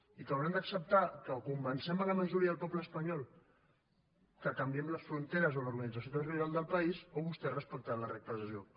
i que hauran d’acceptar que o convencem la majoria del poble espanyol que canviem les fronteres o l’organització territorial del país o vostès respectaran les regles de joc